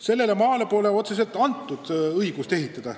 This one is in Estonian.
Sellele maale pole otseselt antud õigust ehitada.